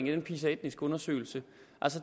i den pisa etnisk undersøgelse